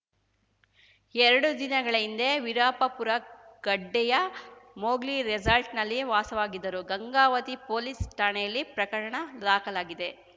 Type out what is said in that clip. ಎರಡು ದಿನಗಳ ಹಿಂದೆ ವಿರುಪಾಪುರಗಡ್ಡೆಯ ಮೊಗ್ಲಿ ರಿಸಾರ್ಟ್‌ನಲ್ಲಿ ವಾಸವಾಗಿದ್ದರು ಗಂಗಾವತಿ ಪೊಲೀಸ್ ಠಾಣೆಯಲ್ಲಿ ಪ್ರಕರಣ ದಾಖಲಾಗಿದೆ